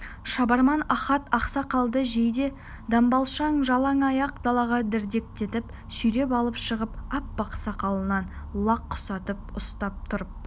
шабарман ахат ақсақалды жейде-дамбалшаң жалаң аяқ далаға дірдектетіп сүйреп алып шығып аппақ сақалынан лақ құсатып ұстап тұрып